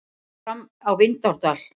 Fram á Vindárdal.